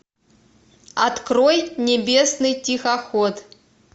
открой небесный тихоход